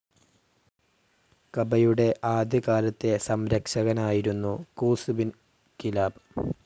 കബയുടെ ആദ്യ കാലത്തെ സംരക്ഷകനായിരുന്നു ഖൂസ് ഇബിൻ കിലാബ്.